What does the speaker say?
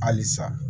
Halisa